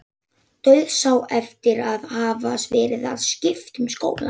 Dauðsá eftir að hafa verið að skipta um skóla.